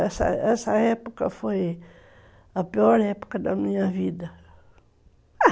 Essa essa época foi a pior época da minha vida.